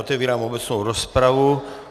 Otevírám obecnou rozpravu.